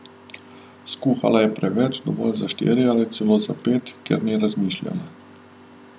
Skuhala je preveč, dovolj za štiri ali celo za pet, ker ni razmišljala.